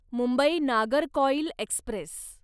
Mumbai Nagercoil Express